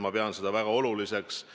Ma pean seda väga oluliseks.